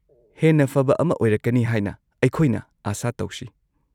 -ꯍꯦꯟꯅ ꯐꯕ ꯑꯃ ꯑꯣꯏꯔꯛꯀꯅꯤ ꯍꯥꯏꯅ ꯑꯩꯈꯣꯏꯅ ꯑꯥꯁꯥ ꯇꯧꯁꯤ꯫